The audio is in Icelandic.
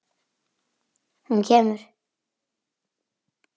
Hún kemur!